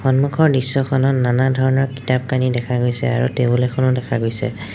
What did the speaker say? সন্মুখৰ দৃশ্যখনত নানা ধৰণৰ কিতাপ-কানি দেখা গৈছে আৰু টেবুল এখনো দেখা গৈছে।